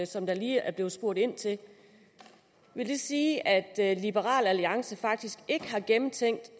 som der lige er blevet spurgt ind til vil det sige at liberal alliance faktisk ikke har gennemtænkt